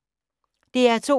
DR2